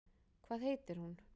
Hvað heitir hún?